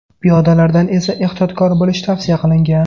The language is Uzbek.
Piyodalardan esa ehtiyotkor bo‘lish tavsiya qilingan.